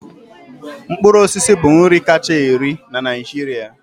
mkpụrụ osisi bụ nri kacha eri na Naịjirịa.